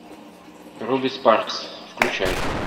руби спаркс включай